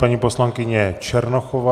Paní poslankyně Černochová.